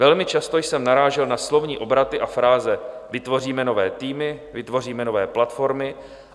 Velmi často jsem narážel na slovní obraty a fráze: vytvoříme nové týmy, vytvoříme nové platformy.